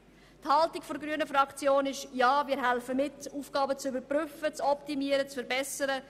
Die grüne Fraktion will mithelfen, Aufgaben zu überprüfen, zu optimieren und zu verbessern.